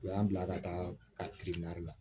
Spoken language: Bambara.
U y'an bila ka taa ka kirinna